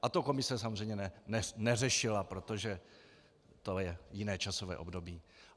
A to komise samozřejmě neřešila, protože to je jiné časové období.